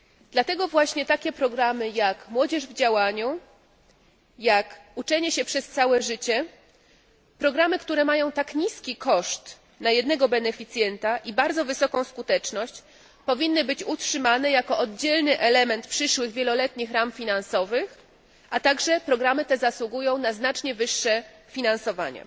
Dlatego właśnie takie programy jak Młodzież w działaniu, Uczenie się przez całe życie programy, które mają tak niski koszt na jednego beneficjenta i bardzo wysoką skuteczność powinny być utrzymane jako oddzielny element przyszłych wieloletnich ram finansowych, a także programy te zasługują na znacznie wyższe finansowanie.